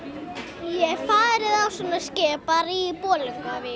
ég hef farið á svona skip bara í Bolungarvík